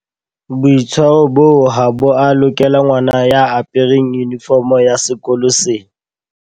Boitshwaro boo ha bo a lokela ngwana ya apereng yunifomo ya sekolo sena.